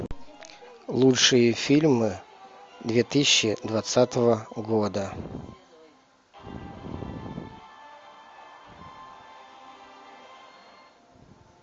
лучшие фильмы две тысячи двадцатого года